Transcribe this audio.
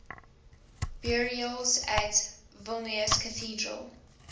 burials at vilnius cathedral